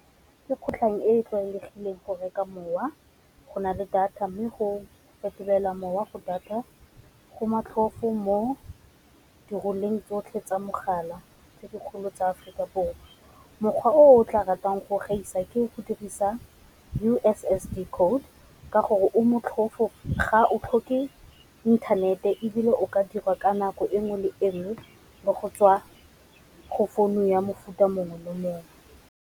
Ke kgotlang e e tlwaelegileng go reka mowa go na le data mme go fetolela mowa go data go motlhofo mo di tsotlhe tsa mogala tse dikgolo tsa Aforika Borwa. Mokgwa o o tla ratang go gaisa ke go dirisa U_S_S_D code ka gore o motlhofo ga o tlhoke inthanete ebile o ka dirwa ka nako enngwe le enngwe, bo go tswa go founu ya mofuta mongwe le mongwe.